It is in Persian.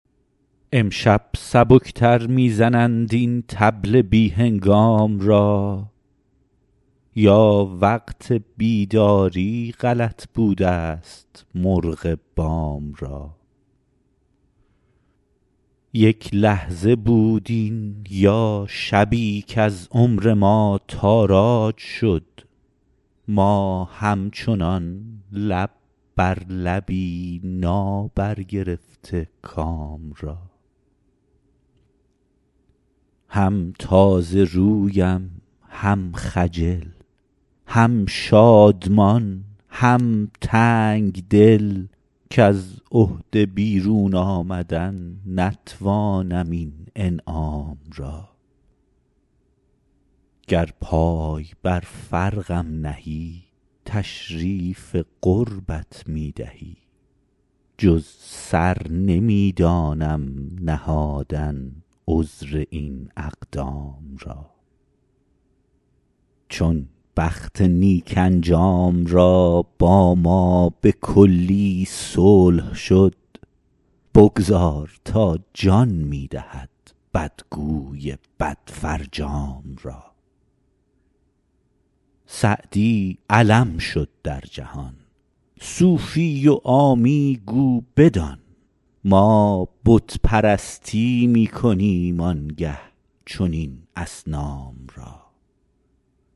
امشب سبک تر می زنند این طبل بی هنگام را یا وقت بیداری غلط بودست مرغ بام را یک لحظه بود این یا شبی کز عمر ما تاراج شد ما همچنان لب بر لبی نابرگرفته کام را هم تازه رویم هم خجل هم شادمان هم تنگ دل کز عهده بیرون آمدن نتوانم این انعام را گر پای بر فرقم نهی تشریف قربت می دهی جز سر نمی دانم نهادن عذر این اقدام را چون بخت نیک انجام را با ما به کلی صلح شد بگذار تا جان می دهد بدگوی بدفرجام را سعدی علم شد در جهان صوفی و عامی گو بدان ما بت پرستی می کنیم آن گه چنین اصنام را